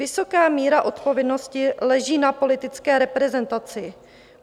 Vysoká míra odpovědnosti leží na politické reprezentaci.